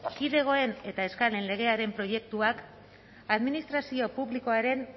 kidegoen eta eskalen legearen proiektuak administrazio publikoaren